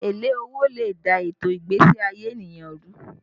Èlé owó lè dà ètò ìgbésí ayé ènìyàn rú